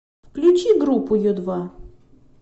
включи группу ю два